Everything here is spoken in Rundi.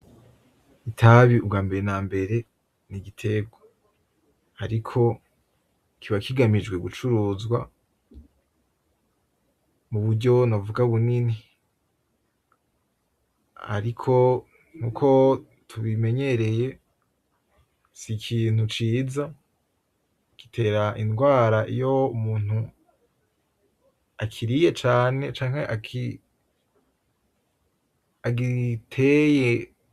Itabi ubwambere nambere n'igiterwa. Ariko kiba kigamijwe gucuruzwa muburyo novuga bunini. Ariko nkuko tubimenyereye sikintu ciza, gitera ingwara iyo Umuntu akiriye cane canke agiteye.